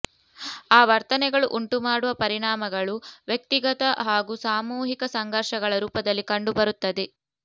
ಆ ವರ್ತನೆಗಳು ಉಂಟುಮಾಡುವ ಪರಿಣಾಮಗಳು ವ್ಯಕ್ತಿಗತ ಹಾಗೂ ಸಾಮೂಹಿಕ ಸಂಘರ್ಷಗಳ ರೂಪದಲ್ಲಿ ಕಂಡುಬರುತ್ತವೆ